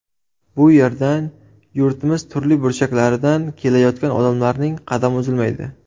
Bu yerdan yurtimiz turli burchaklaridan kelayotgan odamlarning qadami uzilmaydi.